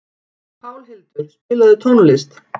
Pálhildur, spilaðu tónlist.